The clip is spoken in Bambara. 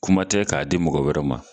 Kuma tɛ k'a di mɔgɔ wɛrɛ ma